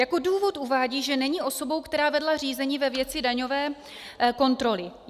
Jako důvod uvádí, že není osobou, která vedla řízení ve věci daňové kontroly.